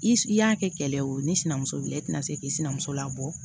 I i y'a kɛ kɛlɛ ye o ni sinamuso bilen i tina se k'i sinamuso labɔ